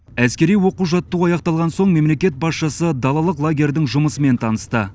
әскери оқу жаттығу аяқталған соң мемлекет басшысы далалық лагердің жұмысымен танысты